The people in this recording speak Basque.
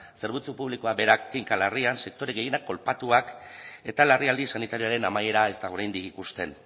zerbitzu publikoak berak kinka larrian sektore gehienak kolpatuak eta larrialdi sanitarioaren amaiera ez da oraindik ikusten